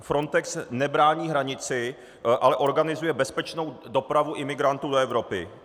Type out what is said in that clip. Frontex nebrání hranici, ale organizuje bezpečnou dopravu imigrantů do Evropy.